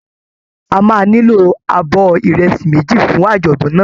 A máa nílò abọ́ ìrẹsì méjì fún àjọ̀dún náà